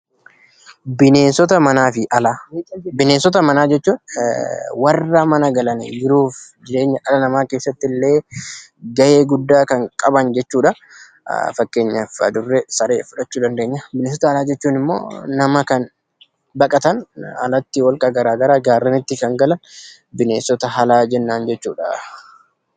Bineensota Manaa fi Alaa Bineensota manaa jechuun warra mana galan, jiruu fi jireenya dhala namaa keessatti illee gahee guddaa kan qaban jechuu dha. Fakkeenyaaf adurree, saree, fudhachuu dandeenya. Bineensota alaa jechuun immoo nama kan baqatan alatti holqa garaagaraa, gaarrenitti, kan galan bineensota alaa jennaan jechuu dha.